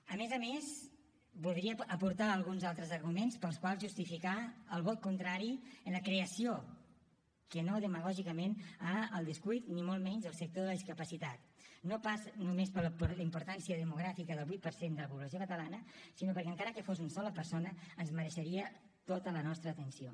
a més a més voldria aportar alguns altres arguments pels quals justificar el vot contrari a la creació que no demagògicament al descuit ni molt menys del sector de la discapacitat no pas només per la importància demogràfica del vuit per cent de la població catalana sinó perquè encara que fos una sola persona ens mereixeria tota la nostra atenció